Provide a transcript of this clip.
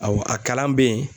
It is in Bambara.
Awɔ a kalan bɛ ye